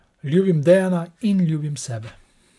Ljubim Dejana in ljubim sebe.